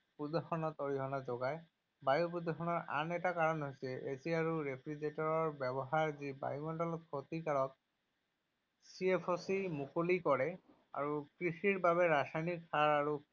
যি পুনৰ বায়ু প্ৰদূষণত অৰিহণা যোগায়। বায়ু প্ৰদূষণৰ আন এটা কাৰণ হৈছে AC আৰু Refrigerator ব্যৱহাৰ যি বায়ুমণ্ডলত ক্ষতিকাৰক চিএফচি মুকলি কৰে। কৃষিৰ বাবে ৰাসায়নিক সাৰ আৰু